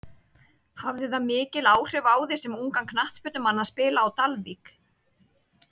Hafði það mikil áhrif á þig sem ungan knattspyrnumann að spila á Dalvík?